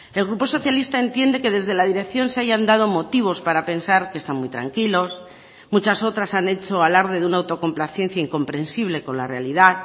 el grupo socialista entiende que desde la dirección se hayan dado motivos para pensar que está muy tranquilos muchas otras han hecho alarde de una autocomplacencia incomprensible con la realidad